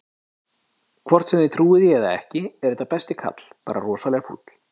Hvort sem þið trúið því eða ekki, er þetta besti kall, bara rosalega fúll.